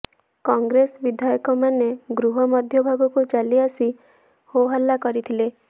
କଂଗ୍ରେସ ବିଧାୟକମାନେ ଗୃହ ମଧ୍ୟଭାଗକୁ ଚାଲି ଆସି ହୋହାଲ୍ଲା କରିଥିଲେ